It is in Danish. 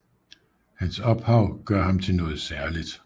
Hans ophav gør ham til noget særligt